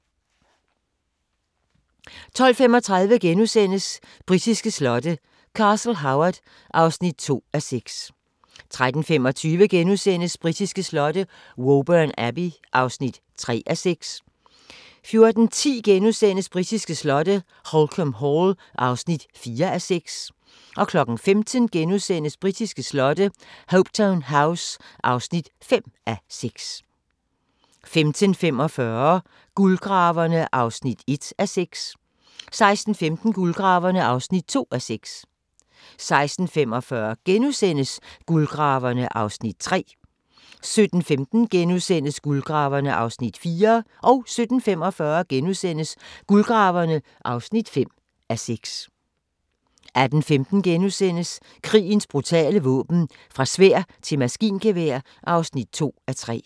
12:35: Britiske slotte: Castle Howard (2:6)* 13:25: Britiske slotte: Woburn Abbey (3:6)* 14:10: Britiske slotte: Holkham Hall (4:6)* 15:00: Britiske slotte: Hopetoun House (5:6)* 15:45: Guldgraverne (1:6) 16:15: Guldgraverne (2:6) 16:45: Guldgraverne (3:6)* 17:15: Guldgraverne (4:6)* 17:45: Guldgraverne (5:6)* 18:15: Krigens brutale våben - fra sværd til maskingevær (2:3)*